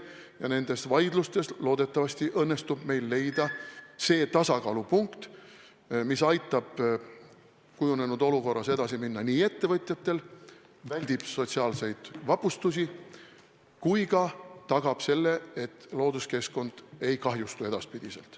Ja nendes vaidlustes loodetavasti õnnestub meil leida tasakaalupunkt, mis aitab kujunenud olukorras ettevõtjatel nii edasi minna, et on välditud sotsiaalsed vapustused ja tagatud ka see, et looduskeskkond ei kahjustu edaspidi.